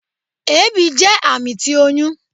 Ebi jẹ ami ti oyun